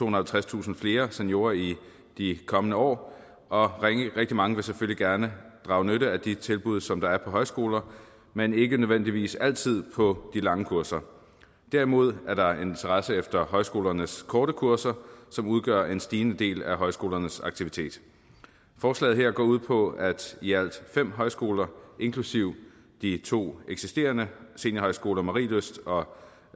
og halvtredstusind flere seniorer i de kommende år og rigtig mange vil selvfølgelig gerne drage nytte af de tilbud som der er på højskoler men ikke nødvendigvis altid på de lange kurser derimod er der interesse for højskolernes korte kurser som udgør en stigende del af højskolernes aktivitet forslaget her går ud på at i alt fem højskoler inklusive de to eksisterende seniorhøjskoler marielyst og